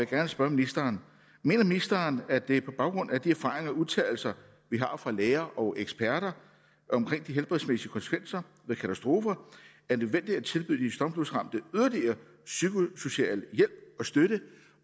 gerne spørge ministeren mener ministeren at det på baggrund af de erfaringer og udtalelser vi har fra læger og eksperter omkring de helbredsmæssige konsekvenser ved katastrofer er nødvendigt at tilbyde de stormflodsramte yderligere psykosocial hjælp og støtte